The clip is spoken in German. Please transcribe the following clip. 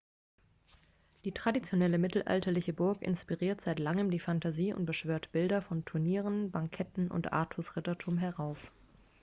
die traditionelle mittelalterliche burg inspiriert seit langem die fantasie und beschwört bilder von turnieren banketten und artus-rittertum herauf